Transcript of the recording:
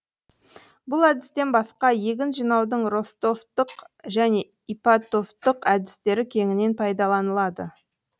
бұл әдістен басқа егін жинаудың ростовтық және ипатовтық әдістері кеңінен пайдаланылады